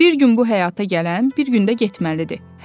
Bir gün bu həyata gələn, bir gün də getməlidir.